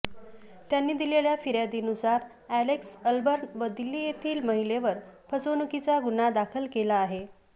त्यांनी दिलेल्या फिर्यादीनुसार अॅलेक्स अलबर्न व दिल्ली येथील महिलेवर फसवणुकीचा गुन्हा दाखल केला आहे